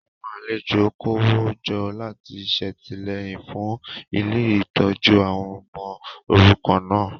Àwọn alejo kówójọ láti ṣètìlẹ́yìn fún ilé ìtọ́jú àwọn ọmọ òrukàn náà